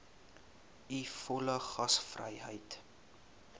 u volle gasvryheid